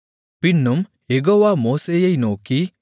பின்னும் யெகோவா மோசேயை நோக்கி